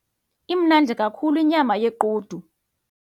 Imnandi kakhulu inyama yequdu.